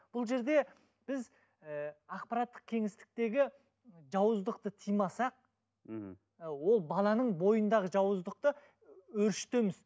бұл жерде біз ііі ақпараттық кеңістіктегі жауыздықты тыймасақ мхм ол баланың бойындағы жауыздықты өршітеміз